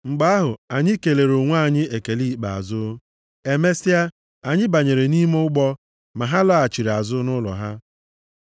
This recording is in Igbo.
Mgbe ahụ, anyị kelere onwe anyị ekele ikpeazụ. Emesịa, anyị banyere nʼime ụgbọ, ma ha laghachiri azụ nʼụlọ ha.